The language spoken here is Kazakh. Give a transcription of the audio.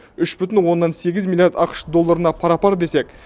үш бүтін оннан сегіз миллиард ақш долларына пара пар десек